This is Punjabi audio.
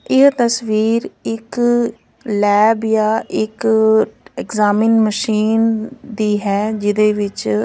ਇਹ ਤਸਵੀਰ ਇਕ ਲੈਬ ਜਾਂ ਇੱਕ ਐਗਜਾਮਿਨ ਮਸ਼ੀਨ ਦੀ ਹੈ ਜਿਹਦੇ ਵਿੱਚ--